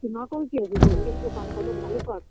তো না করার কি আছে gold -এর দোকানে কত ভালো কাজ